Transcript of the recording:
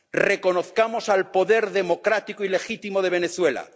Reconozcamos al poder democrático y legítimo de Venezuela